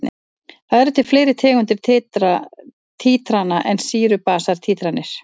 Það eru til fleiri tegundir títrana en sýru-basa títranir.